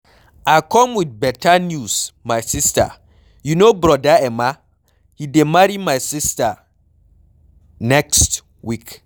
I come with beta news my sister, you know brother Emma? He dey marry my sister next week